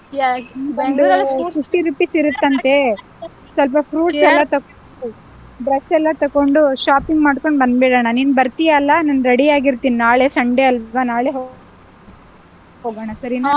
fifty rupees ಇರುತ್ತಂತೆ , ಸ್ವಲ್ಪ fruits ಎಲ್ಲಾ ತಕೊ~ dress ಎಲ್ಲಾ ತಕೊಂಡು shopping ಮಾಡ್ಕೊಂಡ್ ಬಂದ್ಡ್ಬಿಡಣ. ನೀನ್ ಬರ್ತಿಯಲ್ಲಾ, ನಾನ್ ready ಆಗಿರ್ತೀನಿ, ನಾಳೆ Sunday ಅಲ್ವಾ, ನಾಳೆ ಹೋ~ ಹೋಗೋಣ ಸಾರಿನಾ?